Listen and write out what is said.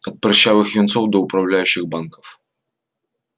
от прыщавых юнцов до управляющих банков